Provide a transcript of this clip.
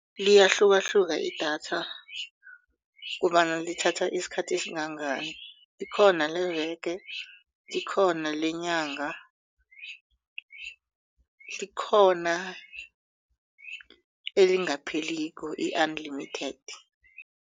Liyahlukahluka idatha kobana lithatha isikhathi esingangani likhona leveke likhona lenyanga likhona elingapheliko i-unlimited.